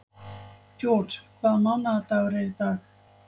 George, hvaða mánaðardagur er í dag?